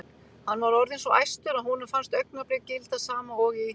Hann var orðinn svo æstur að honum fannst augnablik gilda sama og í